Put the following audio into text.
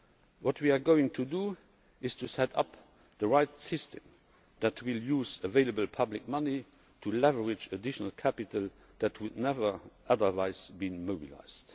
What we are going to do is set up the right system that will use available public money to leverage additional capital that will never otherwise be mobilised.